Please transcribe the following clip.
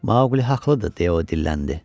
Maqli haqlıdır deyə o dilləndi.